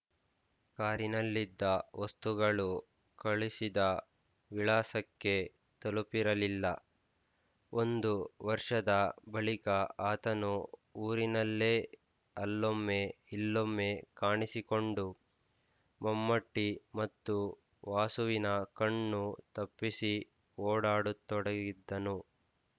ಕಾರಿನಲ್ಲಿದ್ದ ವಸ್ತುಗಳೂ ಕಳಿಸಿದ ವಿಳಾಸಕ್ಕೆ ತಲುಪಿರಲಿಲ್ಲ ಒಂದು ವರ್ಷದ ಬಳಿಕ ಆತನು ಊರಿನಲ್ಲೇ ಅಲ್ಲೊಮ್ಮೆ ಇಲ್ಲೊಮ್ಮೆ ಕಾಣಿಸಿಕೊಂಡು ಮಮ್ಮೂಟಿ ಮತ್ತು ವಾಸುವಿನ ಕಣ್ಣು ತಪ್ಪಿಸಿ ಓಡಾಡತೊಡಗಿದ್ದನು